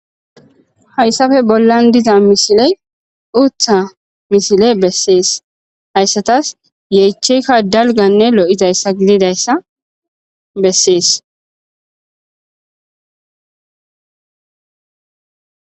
hayssafe bollan diza misiley uutha misile bessees hayssatas yeecheyikka dalganne lo'izayssa gididayssa bessees